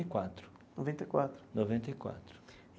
E quatro. Noventa e quatro. Noventa e quatro.